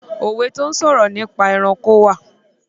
Òwe tó sọ̀rọ̀ nípa ẹranko wà.